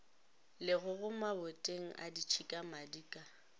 legogo maboteng a ditšhikamadi ka